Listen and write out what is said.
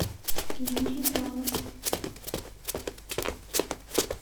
юрий балок